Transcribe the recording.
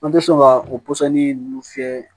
An tɛ sɔn ka o pɔsɔni ninnu fiyɛ